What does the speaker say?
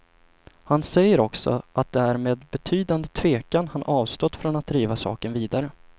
Han säger också att det är med betydande tvekan han avstått från att driva saken vidare.